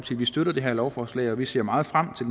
vi støtter det her lovforslag og at vi ser meget frem til